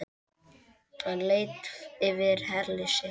Hann leit yfir herlið sitt.